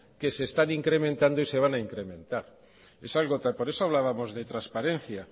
que se están incrementando y se van a incrementar por eso hablábamos de transparencia